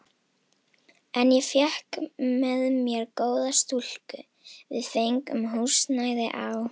En ég fékk með mér góða stúlku, við fengum húsnæði á